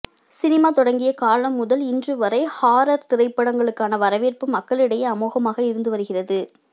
cinema தொடங்கிய காலம் முதல் இன்று வரை ஹாரர் திரைப்படங்களுக்கான வரவேற்பு மக்களிடையே அமோகமாக இருந்து வருகிறது